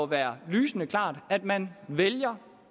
være lysende klart at man vælger